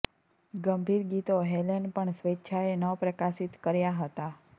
ગંભીર ગીતો હેલેન પણ સ્વેચ્છાએ ન પ્રકાશિત કર્યા હતા